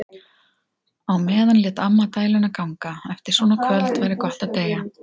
Á meðan lét amma dæluna ganga: Eftir svona kvöld væri gott að deyja.